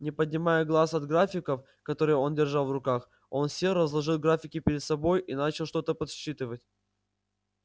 не поднимая глаз от графиков которые он держал в руках он сел разложил графики перед собой и начал что-то подсчитывать